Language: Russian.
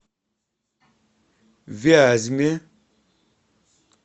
вязьме